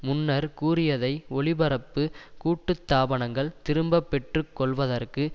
முன்னர் கூறியதை ஒளிபரப்பு கூட்டுத்தாபனங்கள் திரும்ப பெற்று கொள்வதற்கு